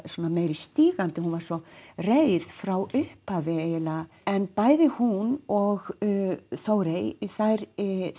meiri stígandi hún var svo reið frá upphafi eiginlega en bæði hún og Þórey þær